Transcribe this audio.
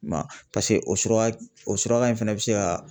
I ma ye wa paseke o suraka o surakan in fɛnɛ be se ka